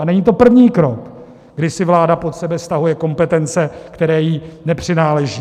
A není to první krok, kdy si vláda pod sebe stahuje kompetence, které jí nepřináleží.